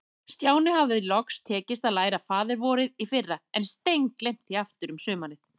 Stjána hafði loks tekist að læra Faðir-vorið í fyrra, en steingleymt því aftur um sumarið.